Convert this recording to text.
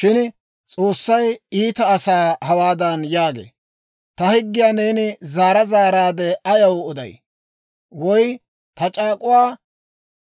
Shin S'oossay iita asaa hawaadan yaagee; Ta higgiyaa neeni zaara zaaraadde ayaw oday? Woy ta c'aak'uwaa